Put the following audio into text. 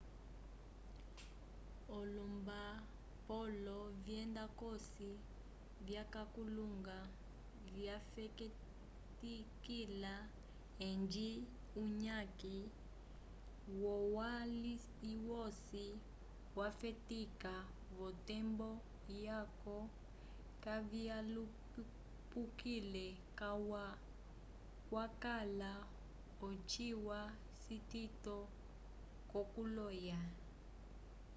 o lombapolo vyenda cosi vyakalunga vyafetikila edji uyaki wolwaliwosi wafetika votembo yaco kavyalupukile calwa kwakala ochilwa citito cokuloya